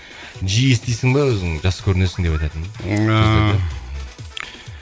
жиі естисің ба өзің жас көрінесің деп айтатынын